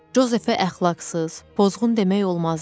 Jozefə əxlaqsız, pozğun demək olmazdı.